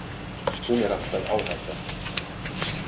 Hún er alltaf áhætta.